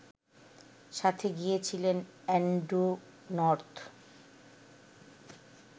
সাথে গিয়েছিলেন Andrew north